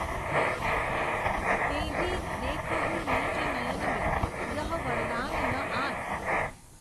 તેહિ, દેખહુ, નિજ નયનમૈં, યહ વરદાન, ન આન.